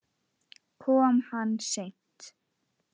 Kom hann seint?